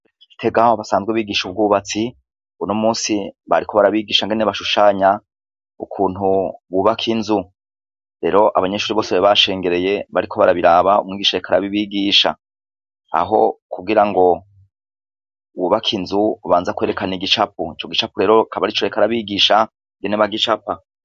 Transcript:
I Gitega aho basanzwe bigisha ubwubatsi, uno munsi bariko barabigisha ingene bashushanya, ukuntu bubaka inzu. Rero abanyeshuri bose bashengereye bariko barabiraba, umwigisha ariko arabibigisha. Aho kugira ngo wubake inzu ubanza kwerekana igicapo. Ico gicapo rero akaba yarico arabigisha, ingene bagicapa.